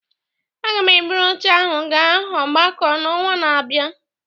a ga m eburu oche ahụ gaa ogbako n'ọnwa na-abịa